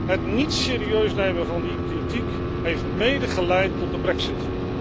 Het niet serieus nemen van die kritiek heeft mede geleid tot de brexit.